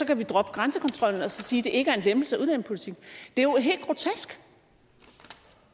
kan droppe grænsekontrollen og så sige at det ikke er en lempelse af udlændingepolitikken det er jo helt grotesk